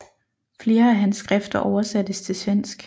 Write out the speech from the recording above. Flere af hans skrifter oversattes til svensk